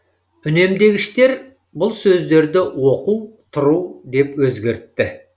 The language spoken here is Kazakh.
үнемдегіштер бұл сөздерді оқу тұру деп өзгертті